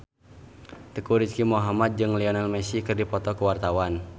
Teuku Rizky Muhammad jeung Lionel Messi keur dipoto ku wartawan